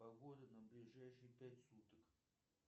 погода на ближайшие пять суток